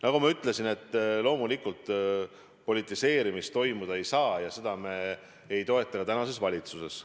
Nagu ma ütlesin, loomulikult politiseerimist toimuda ei saa ja seda me ei toeta ka tänases valitsuses.